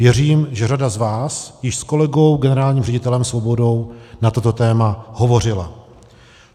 Věřím, že řada z vás již s kolegou generálním ředitelem Svobodou na toto téma hovořila.